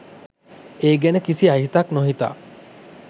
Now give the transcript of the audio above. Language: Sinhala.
ඒ ගැන කිසි අහිතක් නොහිතා.